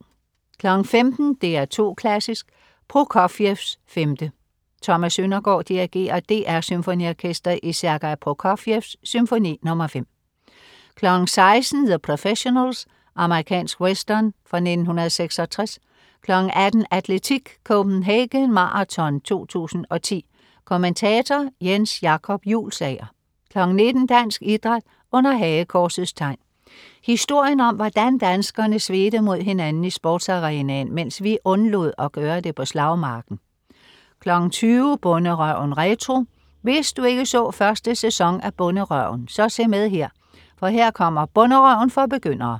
15.00 DR2 Klassisk: Prokofievs 5. Thomas Søndergaard dirigerer DR SymfoniOrkestret i Sergei Prokofievs Symfoni nr. 5 16.00 The Professionals. Amerikansk western fra 1966 18.00 Atletik: Copenhagen Marathon 2010. Kommentator: Jens Jacob Juulsager 19.00 Dansk Idræt under Hagekorsets Tegn. Historien om hvordan danskerne svedte mod hinanden i sportsarenaen mens vi undlod at gøre det på slagmarken 20.00 Bonderøven retro. Hvis du ikke så første sæson af "Bonderøven", så se med her, for her kommer "Bonderøven for begyndere"